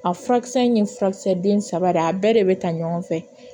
A furakisɛ in ye furakisɛ den saba de ye a bɛɛ de bɛ ta ɲɔgɔn fɛ